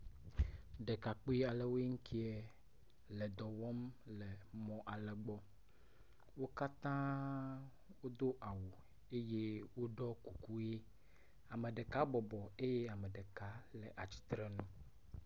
Dekakpialewoe ŋkɛa le dɔwɔm le mɔ ale gbɔ wókatã wodó awu eye wóɖɔ kuku yi ameɖeka bɔbɔ eye ameɖeka nɔ atsitsreŋu